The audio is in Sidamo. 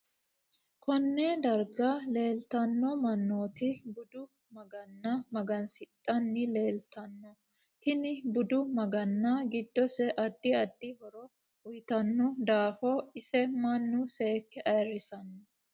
Konne darga leeltanno manooti budu maganna magansidhani leeltanno tini budu maganna giddose addi addi horo uyiitanno daafo ise mannu seeke ayiirsanno